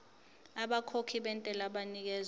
abakhokhi bentela banikezwa